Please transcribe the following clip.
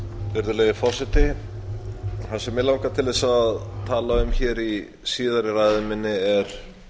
virðulegi forseti það sem mig langar til þess að tala um hér í síðari ræðu minni er